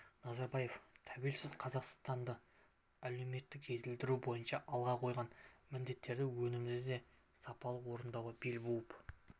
назарбаев тәуелсіз қазақстанды әлеуметтік жетілдіру бойынша алға қойған міндеттерді өнімді де сапалы орындауға бел буып